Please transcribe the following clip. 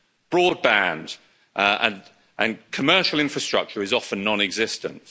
Broadband and commercial infrastructure is often non existent.